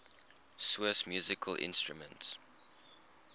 swiss musical instruments